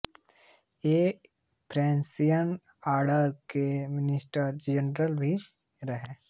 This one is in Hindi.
ये फ्रंसिसियन आर्डर के मिनिस्टर जनरल भी रहे